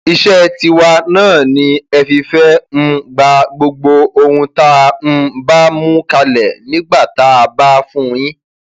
iṣẹ tiwa náà ni ẹ fìfẹ um gba gbogbo ohun tá a um bá mú kalẹ nígbà tá a bá fún yín